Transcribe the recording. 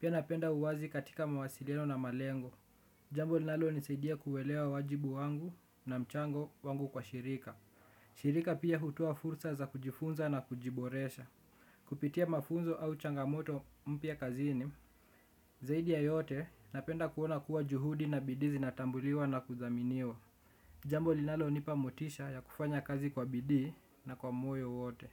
Pia napenda uwazi katika mawasiliano na malengo. Jambo linalonisaidia kuelewa wajibu wangu na mchango wangu kwa shirika. Shirika pia hutoa fursa za kujifunza na kujiboresha. Kupitia mafunzo au changamoto mpya kazini. Zaidi ya yote napenda kuona kuwa juhudi na bidii zinatambuliwa na kuthaminiwa. Jambo linalonipa motisha ya kufanya kazi kwa bidii na kwa moyo wote.